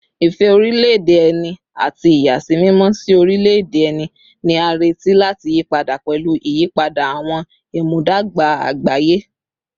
Ìfẹ́ orílẹ̀-èdè ẹni àti ìyàsímímọ́ sí orílẹ̀-èdè ẹni ni a retí láti yí padà pẹ̀lú ìyípadà àwọn ìmúdàgba àgbáyé